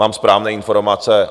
Mám správné informace.